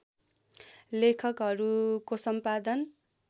लेखहरूको सम्पादन